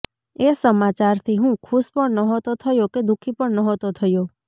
એ સમાચાર થી હું ખુશ પણ નહોતો થયો કે દુખી પણ નહોતો થયો